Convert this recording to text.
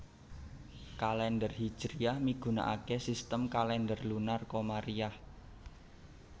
Kalèndher Hijriyah migunakaké sistem kalèndher lunar komariyah